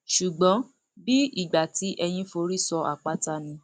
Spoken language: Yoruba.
ṣùgbọn bíi ìgbà tí eyín forí sọ àpáta ni